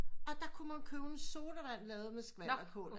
Og der kunne man købe en sodavand lavet med skvalderkål